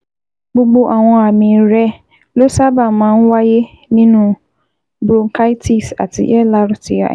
Gbogbo àwọn àmì rẹ ló sábà máa ń wáyé nínú bronchitis ati LRTI